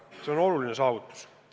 See on oluline saavutus.